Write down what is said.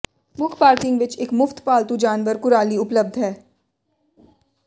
ਮੁੱਖ ਪਾਰਕਿੰਗ ਵਿਚ ਇਕ ਮੁਫ਼ਤ ਪਾਲਤੂ ਜਾਨਵਰ ਕੁਰਾਲੀ ਉਪਲਬਧ ਹੈ